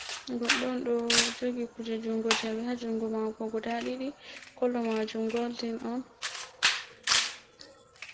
Goɗɗo on, ɗo jogi kuje jungo jawe ha jungo mako guda ɗiɗi, kollo majum golɗin on.